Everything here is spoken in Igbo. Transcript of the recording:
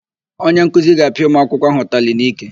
Onyenkuzi ga-apịa ụmụakwụkwọ áhụ̀ ụtalị n'ike.